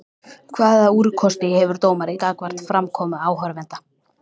Hvaða úrkosti hefur dómari gagnvart framkomu áhorfenda?